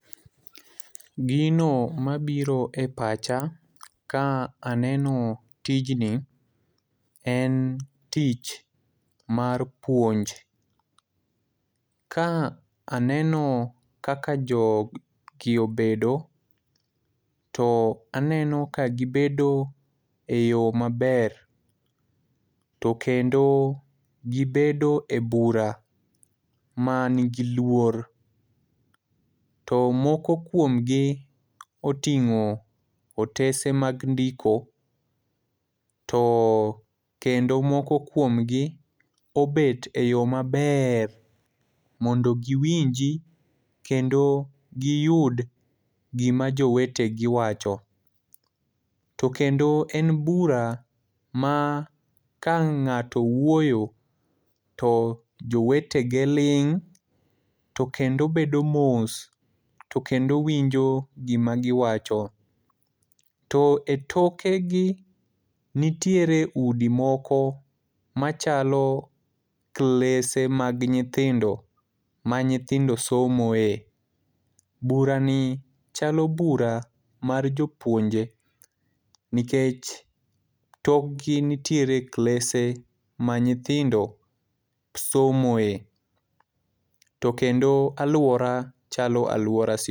Gino mabiro e pacha ka aneno tijni ,en tich mar puonj. Ka aneno kaka jogi obedo, to aneno ka gibedo e yo maber, to kendo gibedo e bura, manigi luor, to moko kuomgi oting'o otese mag ndiko, to kendo moko kuomgi obet e yo maber mondo giwinji kendo giyud gima jowetegi wacho, to kendo en bura ma ka ng'ato wuoyo, to jowetege ling' to kendo bedo mos, to kendo winjo gima giwacho. To e tokegi nitiere udi moko machalo klese mag nyithind, ma nyithindo somo e,burani chalo bura mar jopuonje nikech tokgi nitiere klese ma nyithindo somoe ,to kendo alwora chalo alwora sikul.